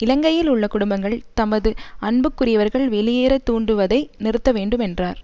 இலங்கையில் உள்ள குடும்பங்கள் தமது அன்புக்குரியவர்கள் வெளியேற தூண்டுவதை நிறுத்த வேண்டும் என்றார்